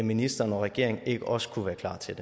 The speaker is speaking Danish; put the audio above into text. ministeren og regeringen ikke også kunne være klar til